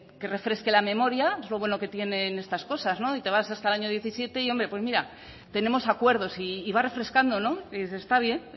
que refresque la memoria es lo bueno que tienen estas cosas y te vas hasta el año diecisiete y hombre pues mira tenemos acuerdos y vas refrescando está bien